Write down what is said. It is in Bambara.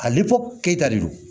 A liko keyita de do